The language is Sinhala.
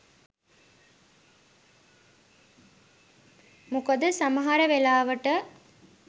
මොකද සමහර වෙලාවට